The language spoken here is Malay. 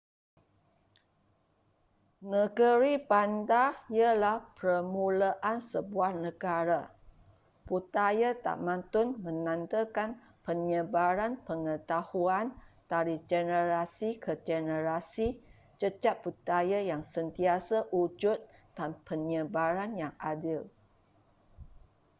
negeri-bandar ialah permulaan sebuah negara budaya tamadun menandakan penyebaran pengetahuan dari generasi ke generasi jejak budaya yang sentiasa wujud dan penyebaran yang adil